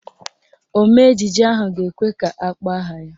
Omee ejije ahụ ga-ekwe ka akpọọ aha ya.